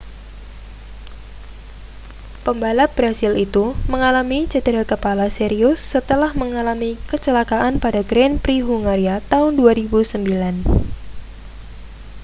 pembalap brasil itu mengalami cedera kepala serius setelah mengalami kecelakaan pada grand prix hungaria tahun 2009